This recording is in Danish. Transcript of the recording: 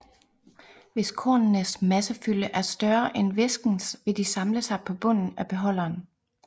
Hvis kornenes massefylde er større end væskens vil de samle sig på bunden af beholderen